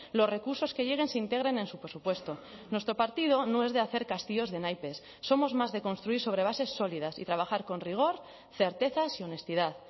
los recursos que lleguen se integren en su presupuesto nuestro partido no es de hacer castillos de naipes somos más de construir sobre bases sólidas y trabajar con rigor certezas y honestidad